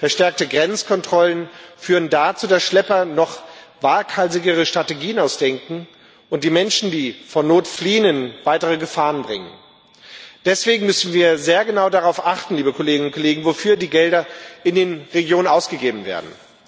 Verstärkte Grenzkontrollen führen dazu, dass Schlepper sich noch waghalsigere Strategien ausdenken und die Menschen, die vor Not fliehen, in weitere Gefahren bringen. Deswegen müssen wir sehr genau darauf achten, wofür die Gelder in den Regionen ausgegeben werden.